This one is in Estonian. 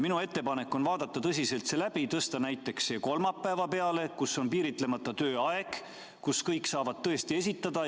Minu ettepanek on vaadata see tõsiselt läbi ja tõsta see punkt näiteks kolmapäeva peale, kui on piiritlemata tööaeg ja kõik saavad tõesti oma küsimuse esitada.